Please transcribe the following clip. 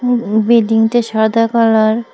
উম উম বিল্ডিংটা সাদা কালার ।